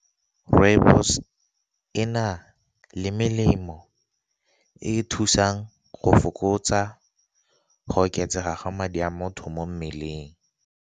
Rooibos e na le melemo e e thusang go fokotsa go oketsega ga madi a motho mo mmeleng.